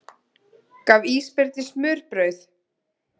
Gaf ísbirni smurbrauð